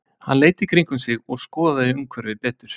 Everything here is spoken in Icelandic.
Hann leit í kringum sig og skoðaði umhverfið betur.